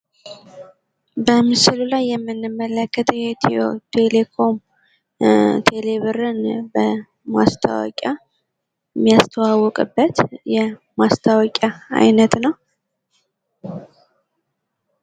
በምስሉ ላይ የምንመለከተው የኢትዮ ቴሌኮም ቴሌብርን በማስታወቂያ ያስተዋወቀበት ማስታወቂያ አይነት ነው።